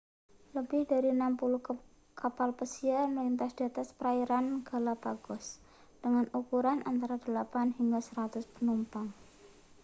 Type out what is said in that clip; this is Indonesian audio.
lebih dari 60 kapal pesiar melintas di atas perairan galapagos dengan ukuran antara 8 hingga 100 penumpang